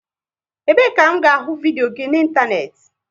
Ebe e ka m ga ahụ vidios gị na ịntanetị?